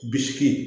Bisigi